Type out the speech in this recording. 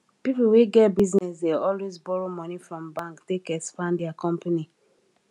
pipo wey get business dey always borrow money from bank take expand their company